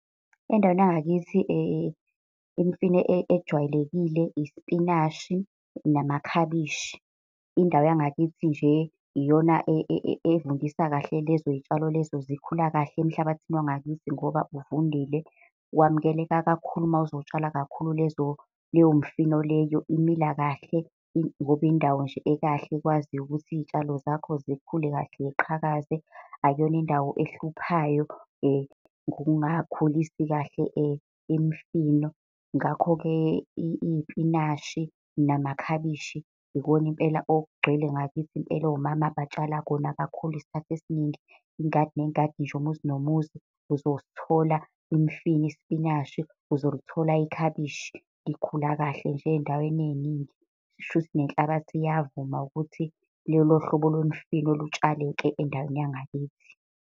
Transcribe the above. Endaweni yangakithi imfino ejwayelekile isipinashi namakhabishi. Indawo yangakithi nje iyona evundisa kahle lezoy'tshalo lezo zikhula kahle emhlabathini wangakithi ngoba uvundile, wamukeleka kakhulu mawuzotshala lezo leyo mfino, leyo imila kahle. Ngoba indawo nje ekahle ekwaziyo ukuthi iy'tshalo zakho zikhule kahle ziqhakaze, akuyona indawo ehluphayo ngokungakhulisi kahle imifino. Ngakho-ke iy'pinashi, namakhabishi, ikona impela okugcwele ngakithi impela omama batshala khona kakhulu. Isikhathi esiningi ingadi nengadi nje, umuzi nomuzi uzosithola imifino, ispinashi, uzolithola ikhabishi likhula kahle nje ey'ndaweni ey'ningi. Shuthi nenhlabathi iyavuma ukuthi lolo hlobo lwemfino lutshaleke endaweni yangakithi.